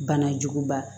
Banajuguba